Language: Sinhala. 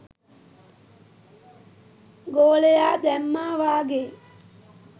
ගෝලයා දැම්මා වගේ